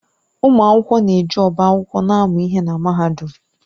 Ụmụ akwụkwọ na-eji ọba akwụkwọ na-amụ ihe na Mahadum.